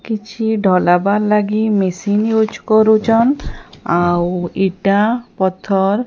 କିଛି ଢ଼ଲାବା ଲାଗି ମେସିନ ୟୁଜ କରୁଛନ। ଆଉ ଇଟା ପଥର।